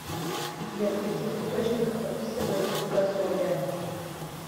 сбер в каких источниках описывается богословие